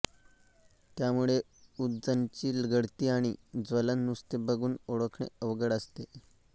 त्यामुळे उदजनची गळती आणि ज्वलन नुसते बघून ओळखणे अवघड असते